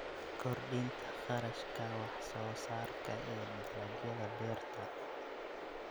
Kordhinta kharashka wax soo saarka ee dalagyada beerta.